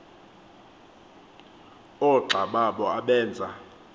oogxa babo abenza